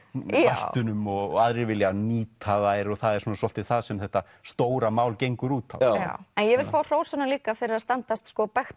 vættunum og aðrir vilja nýta þær það er svolítið það sem þetta stóra mál gengur út á en ég vil fá að hrósa honum líka fyrir að standast